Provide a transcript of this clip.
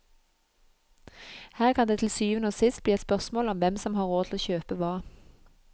Her kan det til syvende og sist bli et spørsmål om hvem som har råd til å kjøpe hva.